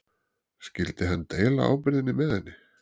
Skyldi hann deila ábyrgðinni með henni?